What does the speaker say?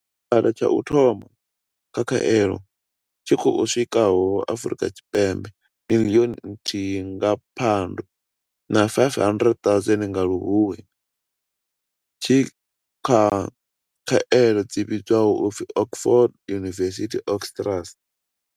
Tshigwada tsha u thoma tsha khaelo tshi khou swikaho Afrika Tshipembe miḽioni nthihi nga Phando na 500 000 nga Luhuhi tshi kha khaelo dzi vhidzwaho u pfi Oxford University-AstraZ.